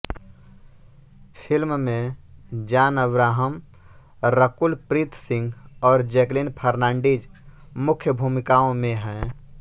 film में जॉन अब्राहम रकुल प्रीत सिंह और जैकलीन फर्नांडीज मुख्य भूमिकाओं में हैं